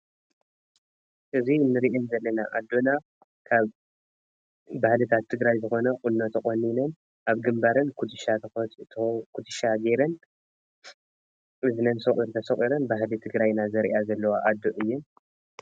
እዝኤን ንርኤን ዘለና አዶኖ ካብ ባህልታት ትግራይ ዝኮነ ቁኖ ተቆኒነን ኣብ ግንባረን ኩትሻ ገይረን እዝነን ሰቋር ተሰቁረን ባህሊ ትግራይ ዘርእያ ዘለዋ አዶ እየን።